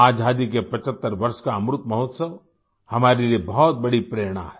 आज़ादी के 75 वर्ष का अमृतमहोत्सव हमारे लिए बहुत बड़ी प्रेरणा है